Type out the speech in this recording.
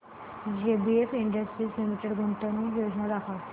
JBF industries limited गुंतवणूक योजना दाखव